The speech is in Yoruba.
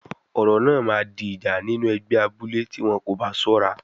Ọ̀rọ̀ náà máa di ìjà nínú ẹgbẹ́ abúlé tí wọn kò bá ṣọ́ra.